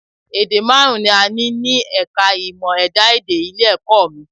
Èdè márùn-ún ni a ní ní ẹ̀ka è ìmọ̀ ẹ̀dá-èdè ilé-ẹ̀kọ́ mi